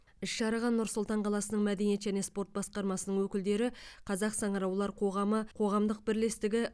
іс шараға нұр сұлтан қаласының мәдениет және спорт басқармасының өкілдері қазақ саңыраулар қоғамы қоғамдық бірлестігі